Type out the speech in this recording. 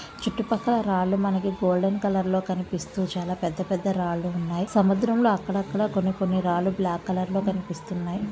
చుట్టూ పక్కల రాళ్లు మనకి గోల్డెన్ కలర్ లో కనిపిస్తూ చాలా పెద్ద పెద్ద రాళ్లు ఉన్నాయ్. సముద్రంలో అక్కడక్కడ కొన్ని కొన్ని రాళ్లు బ్లాకు కలర్ లో కనిపిస్తున్నాయ్.